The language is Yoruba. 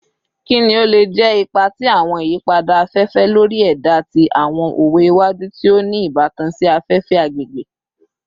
Kini o le jẹ ipa ti awọn iyipada afefe lori ẹda ti awọn owe iwaju ti o ni ibatan si afefe / agbegbe?